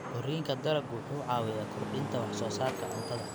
Koriinka dalaggu wuxuu caawiyaa kordhinta wax soo saarka cuntada.